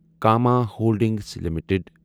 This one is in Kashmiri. Cama holdings limited